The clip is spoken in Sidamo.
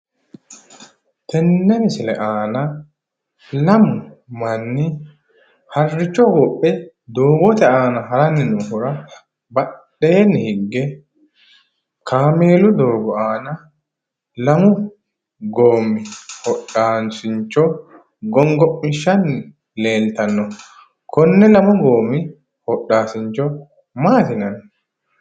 Tenne misile aana lamu manni harricho hogophe doogote aana haranni noohura badheenni higge kaameelu doogo aana lamu goommi hodhaasincho gongommishshanni leeltanno. Konne lamu goommi hodhaasdincho maati yinanni?